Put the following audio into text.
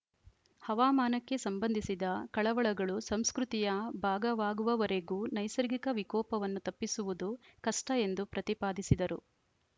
ಹವಾಮಾನಕ್ಕೆ ಸಂಬಂಧಿಸಿದ ಕಳವಳಗಳು ಸಂಸ್ಕೃತಿಯ ಭಾಗವಾಗುವವರೆಗೂ ನೈಸರ್ಗಿಕ ವಿಕೋಪವನ್ನು ತಪ್ಪಿಸುವುದು ಕಷ್ಟಎಂದು ಪ್ರತಿಪಾದಿಸಿದರು